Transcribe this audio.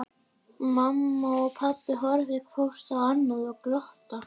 Mamma og pabbi horfa hvort á annað og glotta.